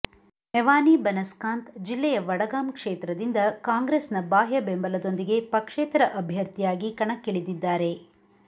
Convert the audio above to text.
ಮೆವಾನಿ ಬನಸ್ಕಾಂತ್ ಜಿಲ್ಲೆಯ ವಡಗಾಮ್ ಕ್ಷೇತ್ರದಿಂದ ಕಾಂಗ್ರೆಸ್ ನ ಬಾಹ್ಯ ಬೆಂಬಲದೊಂದಿಗೆ ಪಕ್ಷೇತರ ಅಭ್ಯರ್ಥಿಯಾಗಿ ಕಣಕ್ಕಿಳಿದಿದ್ದಾರೆ